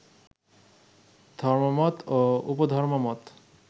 ধর্মমত ও উপধর্মমত